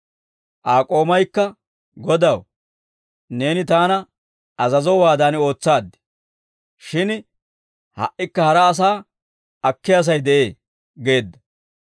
«Aa k'oomaykka, ‹Godaw, neeni taana azazowaadan ootsaad; shin ha"ikka hara asaa akkiyaa sa'ay de'ee› geedda.